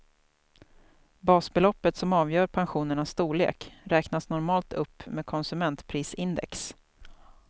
Basbeloppet som avgör pensionernas storlek räknas normalt upp med konsumentprisindex.